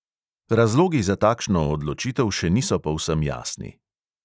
Razlogi za takšno odločitev še niso povsem jasni.